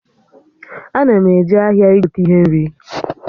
Ana m eje ahịa igote ihe nri